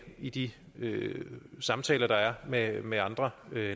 i de samtaler der er med med andre